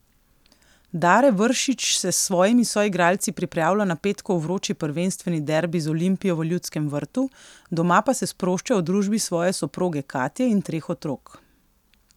Dare Vršič se s svojimi soigralci pripravlja na petkov vroči prvenstveni derbi z Olimpijo v Ljudskem vrtu, doma pa se sprošča v družbi svoje soproge Katje in treh otrok.